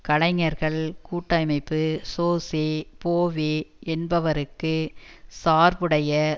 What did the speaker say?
கலைஞர்கள் கூட்டமைப்பு Jose Bove என்பவருக்கு சார்புடைய